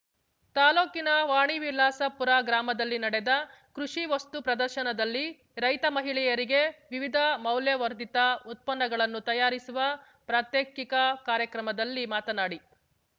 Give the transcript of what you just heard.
ತಾಲೂಕಿನ ವಾಣಿವಿಲಾಸಪುರ ಗ್ರಾಮದಲ್ಲಿ ನಡೆದ ಕೃಷಿ ವಸ್ತು ಪ್ರದರ್ಶನದಲ್ಲಿ ರೈತ ಮಹಿಳೆಯರಿಗೆ ವಿವಿಧ ಮೌಲ್ಯವರ್ಧಿತ ಉತ್ಪನ್ನಗಳನ್ನು ತಯಾರಿಸುವ ಪ್ರಾತ್ಯಕಿಕ ಕಾರ್ಯಕ್ರಮದಲ್ಲಿ ಮಾತನಾಡಿ